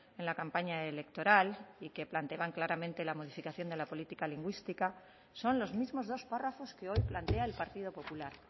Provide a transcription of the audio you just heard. en la campaña electoral y que planteaban claramente la modificación de la política lingüística son los mismos dos párrafos que hoy plantea el partido popular